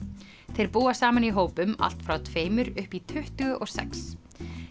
þeir búa saman í hópum allt frá tveimur upp í tuttugu og sex